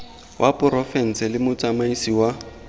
wa porofense le motsamaisi wa